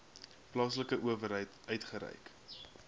plaaslike owerheid uitgereik